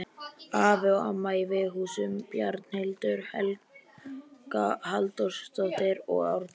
Afi og amma í Veghúsum, Bjarnhildur Helga Halldórsdóttir og Árni